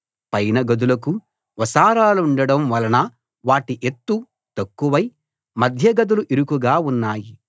పైన గదులకు వసారాలుండడం వలన వాటి ఎత్తు తక్కువై మధ్యగదులు ఇరుకుగా ఉన్నాయి